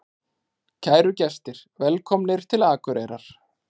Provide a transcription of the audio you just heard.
Kæru gestir! Velkomnir til Akureyrar.